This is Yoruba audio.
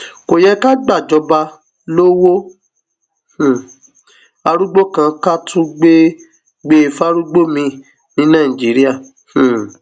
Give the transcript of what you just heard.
kò yẹ ká gbàjọba lowó um arúgbó kan ká tún gbé e fárúgbó miín ní nàìjíríà um